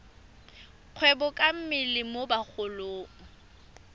kgwebo ka mmele mo bagolong